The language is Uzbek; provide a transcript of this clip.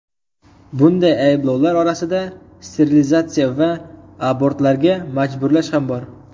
Bunday ayblovlar orasida sterilizatsiya va abortlarga majburlash ham bor.